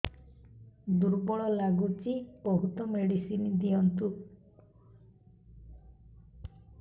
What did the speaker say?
ଦୁର୍ବଳ ଲାଗୁଚି ବହୁତ ମେଡିସିନ ଦିଅନ୍ତୁ